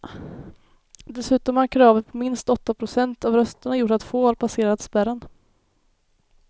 Dessutom har kravet på minst åtta procent av rösterna gjort att få har passerat spärren.